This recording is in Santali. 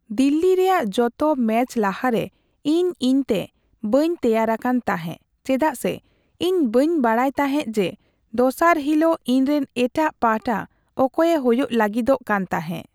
ᱫᱤᱞᱞᱤ ᱨᱮᱭᱟᱜ ᱡᱚᱛᱚ ᱢᱮᱪ ᱞᱟᱦᱟᱨᱮ ᱤᱧ ᱤᱧᱛᱮ ᱵᱟᱹᱧ ᱛᱮᱭᱟᱨ ᱟᱠᱟᱱ ᱛᱟᱸᱦᱮ ᱪᱮᱫᱟᱜ ᱥᱮ ᱤᱧ ᱵᱟᱹᱧ ᱵᱟᱰᱟᱭ ᱛᱟᱸᱦᱮ ᱡᱮ ᱫᱚᱥᱟᱨ ᱦᱤᱞᱚᱜ ᱤᱧᱨᱮᱱ ᱮᱴᱟᱜ ᱯᱟᱦᱟᱴᱟ ᱚᱠᱚᱭᱮ ᱦᱳᱭᱳᱜ ᱞᱟᱹᱜᱤᱫᱚᱜ ᱠᱟᱱ ᱛᱟᱸᱦᱮ ᱾